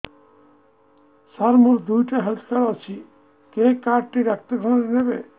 ସାର ମୋର ଦିଇଟା health card ଅଛି କେ କାର୍ଡ ଟି ଡାକ୍ତରଖାନା ରେ ନେବେ